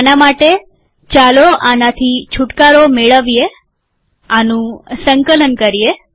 આના માટે ચાલો આનાથી છુટકારો મેળવીએઆનું સંકલન કરીએ